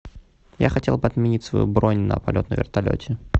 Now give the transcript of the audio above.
я хотел бы отменить свою бронь на полет на вертолете